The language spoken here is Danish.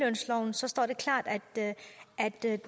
så er det